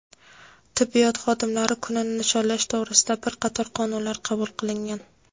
tibbiyot xodimlari kunini nishonlash to‘g‘risida bir qator qonunlar qabul qilingan.